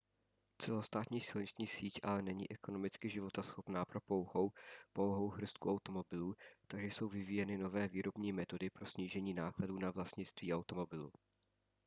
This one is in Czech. celostátní silniční síť ale není ekonomicky životaschopná pro pouhou pouhou hrstku automobilů takže jsou vyvíjeny nové výrobní metody pro snížení nákladů na vlastnictví automobilu